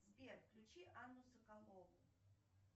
сбер включи анну соколову